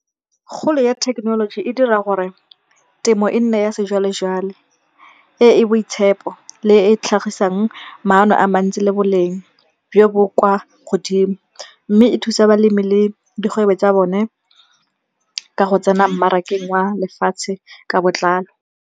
Kgolo ya thekenoloji e dira gore temo e nne ya sejwalejwale. E e boitshepo le e e tlhagisang maano a mantsi le boleng jo bo kwa godimo. Mme e thusa balemi le dikgwebo tsa bone ka go tsena mmarakeng wa lefatshe ka botlalo.